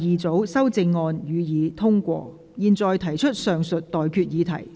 我現在向各位提出上述待決議題。